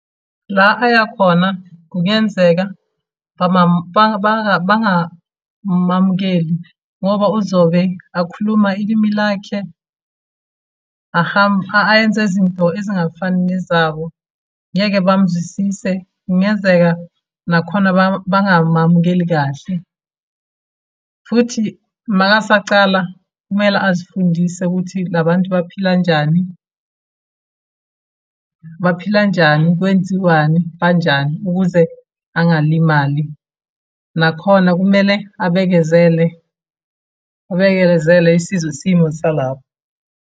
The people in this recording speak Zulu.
La aya khona kungenzeka bangamamukeli, ngoba uzobe akhuluma ilimi lakhe, ayenza izinto ezingafani nezabo. Ngeke bamuzwisise, kungenzeka nakhona bangamamukeli kahle, futhi uma esacala kumele azifundise ukuthi la bantu baphila njani. Baphila njani, kwenziwani, kanjani, ukuze angalimali. Nakhona kumele abekezele, abekezele esizwe isimo salapho.